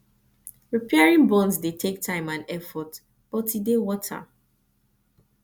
repairing bonds dey take time and effort but e dey worth am